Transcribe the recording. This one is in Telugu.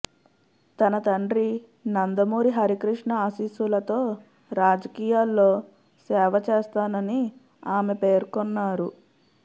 తన తండ్రి నందమూరి హరికృష్ణ ఆశీస్సులతో రాజకీయాల్లో సేవ చేస్తానని ఆమె పేర్కొన్నారు